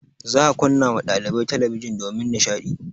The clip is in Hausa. Za a kunna ma ɗalibai talabijin domin nishaɗi.